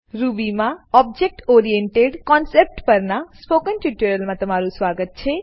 Ruby માં object oriented concept પરનાં spoken ટ્યુટોરીયલમાં તમારુ સ્વાગત છે